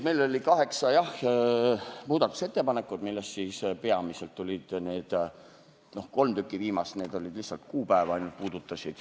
Meil oli kaheksa muudatusettepanekut, millest kolm viimast puudutasid lihtsalt kuupäeva.